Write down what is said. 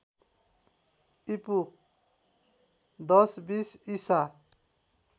ईपू १०२० ईसा